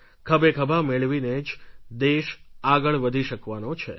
ખભેખભા મેળવીને જ દેશ આગળ વધી શકવાનો છે